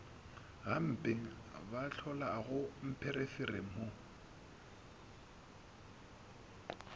gampe ba hlolago mpherefere mo